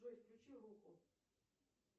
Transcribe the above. джой включи руху